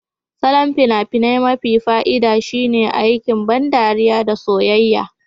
Salon fina-finai mafi fa'ida shine aiki, ban ɗariya da soyayya.